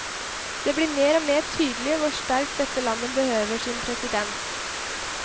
Det blir mer og mer tydelig hvor sterkt dette landet behøver sin president.